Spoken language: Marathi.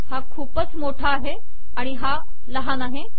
हा खूपच मोठा आहे आणि हा लहान आहे